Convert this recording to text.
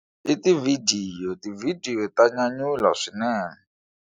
I tivhidiyo tivhidiyo ta nyanyula swinene.